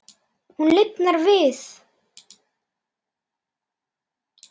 Hún lifnar við.